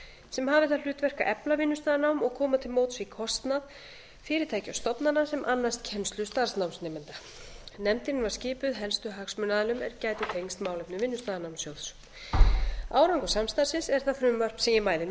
sem hafi það hlutverk að efla vinnustaðanám og koma til móts við kostnað fyrirtækja og stofnana sem annast kennslu starfsnámsnemenda nefndin var skipuð helstu hagsmunaaðilum er gætu tengst málefnum vinnustaðanámssjóðs árangur samstarfsins er það frumvarp sem ég mæli nú